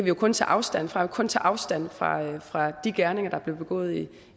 jo kun tage afstand fra kun tage afstand fra fra de gerninger der blev begået i